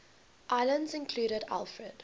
islands included alfred